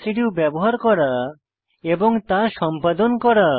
residue ব্যবহার করা এবং তা সম্পাদন করা